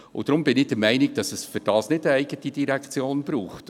Deshalb bin ich der Meinung, dass es dafür keine eigene Direktion braucht.